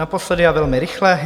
Naposledy a velmi rychle.